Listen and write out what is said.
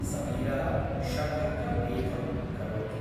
समीरः षठकवेधं करोति।